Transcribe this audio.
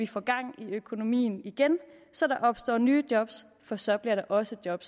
få gang i økonomien igen så der opstår nye job for så bliver der også job